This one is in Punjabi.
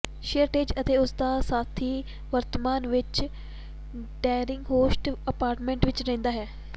ਸਅਰਟਜ਼ ਅਤੇ ਉਸ ਦਾ ਸਾਥੀ ਵਰਤਮਾਨ ਵਿੱਚ ਡਾਰਲਿੰਗਹੋਰਸਟ ਅਪਾਰਟਮੈਂਟ ਵਿੱਚ ਰਹਿੰਦਾ ਹੈ